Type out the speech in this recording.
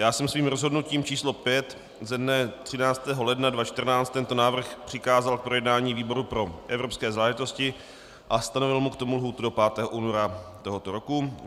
Já jsem svým rozhodnutím číslo 5 ze dne 13. ledna 2014 tento návrh přikázal k projednání výboru pro evropské záležitosti a stanovil mu k tomu lhůtu do 5. února tohoto roku.